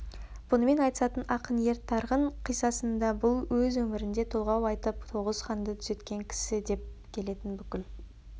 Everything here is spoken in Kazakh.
бұнымен айтысатын ақын ер тарғынқиссасында бұл өз өмірінде толғау айтып тоғыз ханды түзеткен кісідеп келетін бүкіл